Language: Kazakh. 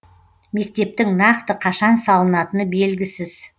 мектептің нақты қашан салынатыны белгісіз